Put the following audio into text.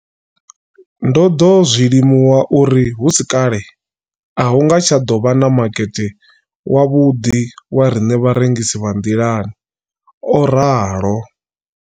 Ndo ḓo zwi limuwa uri hu si kale a hu nga tsha ḓo vha na makete wavhuḓi wa riṋe vharengisi vha nḓilani, o ralo.